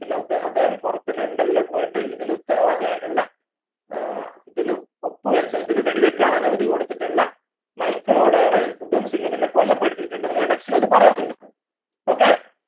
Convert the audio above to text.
പിന്നെ ഉ അദ്ധേഹം പുറത്തു ലണ്ടണിൽ പോയിട്ട് ഇതിന് ഉത്തരവാദി ആയിട്ടുള്ള ഏർ ഇതിന് ഒപ്പു വെച്ച ഇതിന് വെടി വെക്കാൻ അനുമതി കൊടുത്തിട്ടുള്ള മൈക്കിൾ പിന്നെ കൊലപ്പെടുത്തിയിട്ടുണ്ട് നിങ്ങളെ text ൽ അത് പറയുന്നുണ്ട് okay